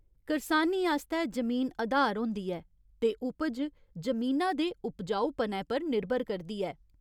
करसानी आस्तै जमीन अधार होंदी ऐ ते उपज जमीना दे उपजाऊपनै पर निर्भर करदी ऐ।